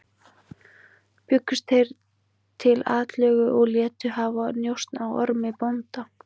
Bjuggust þeir til atlögu og létu hafa njósn á Ormi bónda.